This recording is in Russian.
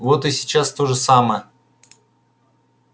вот и сейчас то же самое